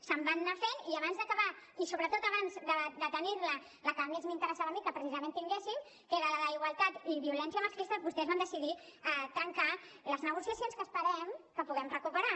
se’n van anar fent i abans d’acabar i sobretot abans de tenir la la que més m’interessava a mi que precisament tinguéssim que era la d’igualtat i violència masclista vostès van decidir trencar les negociacions que esperem que puguem recuperar